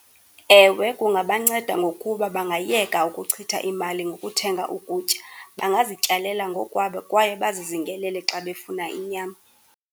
Ewe, kungabanceda ngokuba bangayeka ukuchitha imali ngokuthenga ukutya. Bangazityalela ngokwabo kwaye bazizingelele xa befuna inyama.